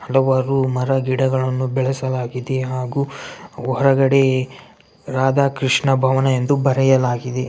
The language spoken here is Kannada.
ಹಲವಾರು ಮರಗಿಡಗಳನ್ನು ಬೆಳೆಸಲಾಗಿದೆ ಹಾಗು ಹೊರಗಡೆ ರಾಧಾ ಕೃಷ್ಣ ಭವನ ಎಂದು ಬರೆಯಲಾಗಿದೆ.